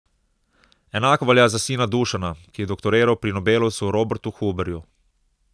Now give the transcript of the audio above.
Enako velja za sina Dušana, ki je doktoriral pri nobelovcu Robertu Huberju.